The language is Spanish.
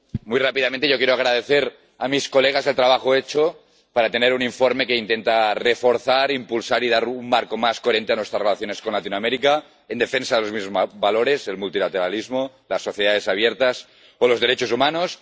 Señor presidente muy rápidamente, yo quiero agradecer a mis colegas el trabajo hecho para tener un informe que intenta reforzar, impulsar y dar un marco más coherente a nuestras relaciones con Latinoamérica, en defensa de los mismos valores el multilateralismo, las sociedades abiertas o los derechos humanos